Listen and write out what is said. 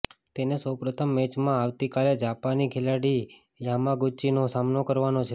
તેને સૌપ્રથમ મેચમાં આવતીકાલે જાપાની ખેલાડી યામાગુચીનો સામનો કરવાનો છે